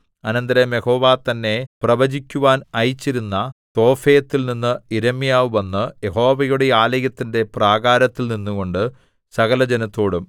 അനന്തരം യഹോവ തന്നെ പ്രവചിക്കുവാൻ അയച്ചിരുന്ന തോഫെത്തിൽനിന്ന് യിരെമ്യാവ് വന്ന് യഹോവയുടെ ആലയത്തിന്റെ പ്രാകാരത്തിൽ നിന്നുകൊണ്ട് സകലജനത്തോടും